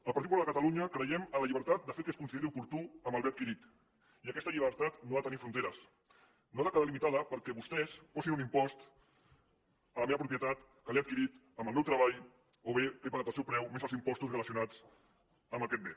al partit popular de catalunya creiem en la llibertat de fer el que es consideri oportú amb el bé adquirit i aquesta llibertat no ha de tenir fronteres no ha de quedar limitada perquè vostès posin un impost a la meva propietat que l’he adquirit amb el meu treball o bé que he pagat el seu preu més els impostos relacionats amb aquest bé